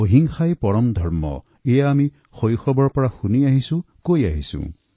অহিংসাই পৰম ধৰ্ম এয়া আমি শৈশৱৰ পৰা শুনি আহিছো কৈ আহিছো